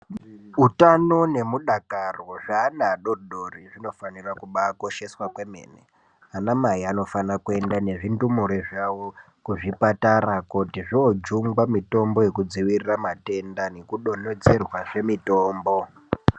Utano nemudakaro zveana adoodori zvinofanira kubaakosheswa kwemene, ana mai anofana kuenda nezvindumure zvavo kuzvipatara kuti zvoojungwa mitombo yekudzivirira matenda nekudonhedzerwa zve mitombo.